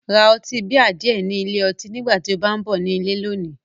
Ra ọtí bíà díẹ̀ ni ilé ọtí nígbà tí o bá ń bọ̀ ní ilé lónìí